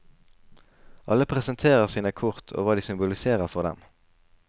Alle presenterer sine kort og hva de symboliserer for dem.